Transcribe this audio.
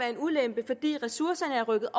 en ulempe fordi ressourcerne er rykket